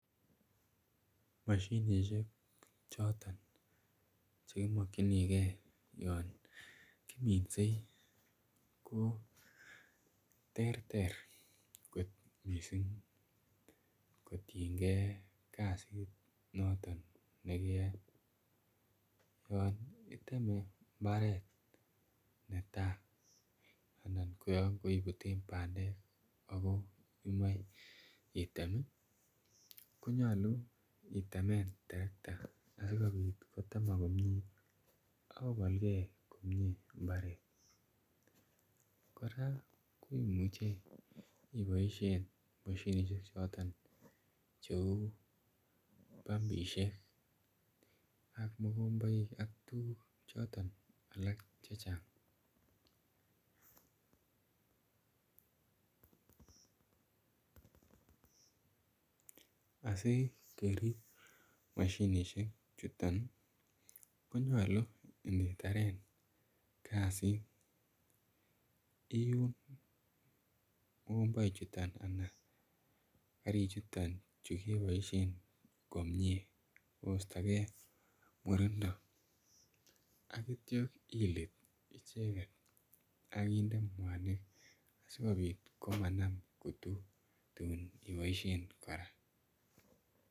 Moshinishek choton cheimokchinigei yon kiminsei ko ter ter kot missing kotiengei kasit noton nekeyoei yon iteme mbaret netai anan koyon keiputen pandek ako imae item konyolu itemen torokta asikobit kotemak komie akobolgei komie mbaret kora ko imuchei iboishen moshinishek choton cheu pumpishek ak mukomboik ak tukuk chotok alak chechang asikerip mashinishek chuton konyolu ingitaren kasit iun mukomboik chuton ana karik chuton chukeboishen komie koistogei murindo akityo ilit icheget akinde mwanik asikobit komanam kutuk tuun iboishen kora